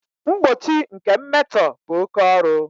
Mgbochi nke mmetọ bụ oke ọrụ